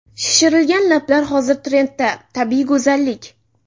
Shishirilgan lablar Hozir trendda tabiiy go‘zallik.